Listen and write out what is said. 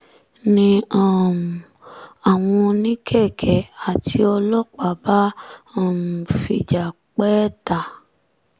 ni um àwọn oníkẹ̀kẹ́ àti ọlọ́pàá bá um fìjà pẹ́ ẹ ta